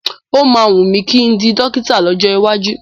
Ó máa wùn mí kí n di dọ́kítà lọ́jọ́ iwájú.